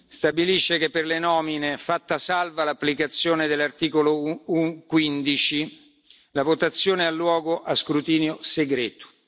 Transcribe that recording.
stabilisce che per le nomine, fatta salva l'applicazione dell'articolo 15, la votazione ha luogo a scrutinio segreto.